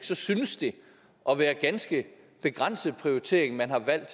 så synes det at være en ganske begrænset prioritering man har valgt